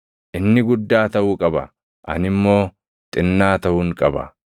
Inni guddaa taʼuu qaba; ani immoo xinnaa taʼuun qaba.